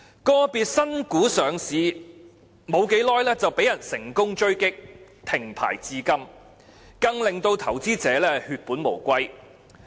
個別新股上市不久便被人成功狙擊，停牌至今，更令到投資者血本無歸。